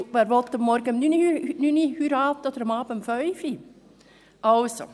Denn wer will morgens um 9 Uhr oder abends um 17 Uhr heiraten? – Also.